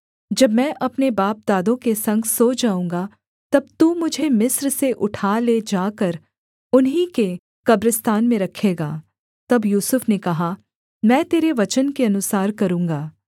जब मैं अपने बापदादों के संग सो जाऊँगा तब तू मुझे मिस्र से उठा ले जाकर उन्हीं के कब्रिस्तान में रखेगा तब यूसुफ ने कहा मैं तेरे वचन के अनुसार करूँगा